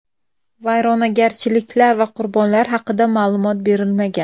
Vayronagarchiliklar va qurbonlar haqida ma’lumot berilmagan.